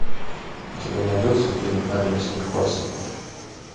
у тебя найдется фильм римский корсаков